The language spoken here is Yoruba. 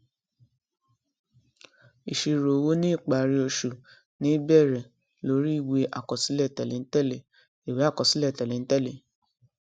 ìṣirò owó ní ìparí oṣù ní í bẹrẹ lórí ìwé àkọsílẹ tẹléǹtẹlẹ ìwé àkọsílẹ tẹléǹtẹlẹ